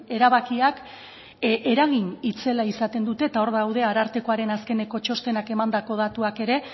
erabakiak eragin itzela izaten dute eta hor daude arartekoaren azkeneko txostenak emandako datuak ere